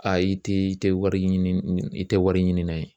Ayi tɛ i tɛ wari ɲini i tɛ wari ɲinina ye